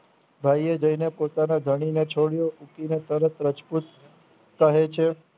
ભાઈએ જોઈને પોતાના ધણીને છોડીયો ઉઠીને તરત રજપૂત કહે છે